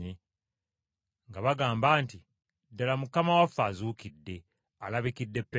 nga bagamba nti, “Ddala Mukama waffe azuukidde! Alabikidde Peetero!”